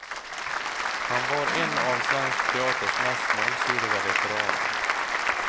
Han var en av svensk teaters mest mångsidiga veteraner.